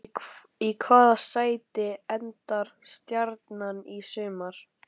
Í hvaða sæti endar Stjarnan í sumar?